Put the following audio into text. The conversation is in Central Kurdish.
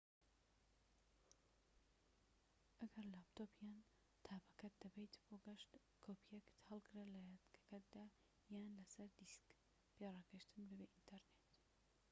ئەگەر لاپتۆپ یان تابەکەت دەبەیت بۆ گەشت، کۆپیەک هەڵگرە لە یادگەکەیدا یان لەسەر دیسک پێڕاگەشتن بەبێ ئینتەرنێت